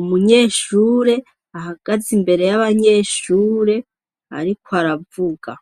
umunyeshure ahagaze imbere y'abanyeshure ariko aravuga.